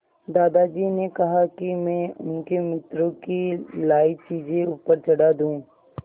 दादाजी ने कहा कि मैं उनके मित्रों की लाई चीज़ें ऊपर चढ़ा दूँ